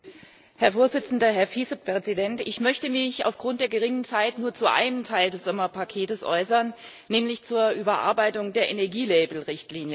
Herr Präsident, Herr Vizepräsident! Ich möchte mich aufgrund der knappen Zeit nur zu einem Teil des Sommerpaketes äußern, nämlich zur Überarbeitung der Energielabel Richtlinie.